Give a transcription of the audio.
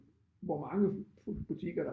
Hvor mange butikker der